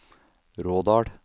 Rådal